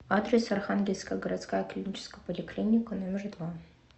адрес архангельская городская клиническая поликлиника номер два